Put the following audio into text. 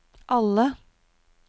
alle